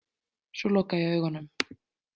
Svo loka ég augunum.